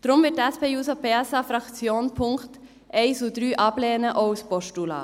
Deshalb wird die SP-JUSO-PSA-Fraktion die Punkte 1 und 3 ablehnen, auch als Postulat.